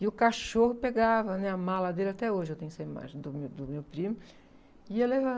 E o cachorro pegava, né, a mala dele, até hoje eu tenho essa imagem do meu, do meu primo, e ia levando.